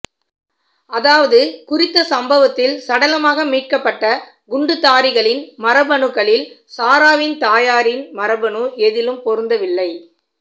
அதாவது குறித்த சம்பவத்தில் சடலமாக மீட்கப்பட்ட குண்டுத்தாரிகளின் மரபணுக்களில் சாராவின் தாயாரின் மரபணு எதிலும் பொருந்தவில்லை